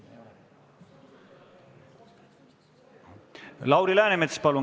Lauri Läänemets, palun!